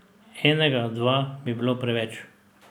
Enega, dva bi bilo preveč.